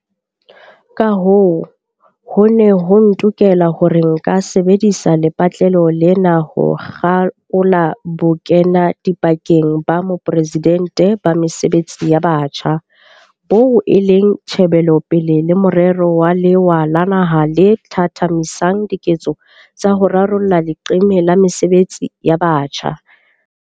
Kahoo, ho ne ho ntokela hore nka sebedisa lepatlelo lena ho kgakola Bokenadipakeng ba Moporesidente ba Mesebetsi ya Batjha, boo e leng tjhebelopele le morero wa lewa la naha le thathamisang diketso tsa ho rarolla leqeme la mesebetsi ya batjha.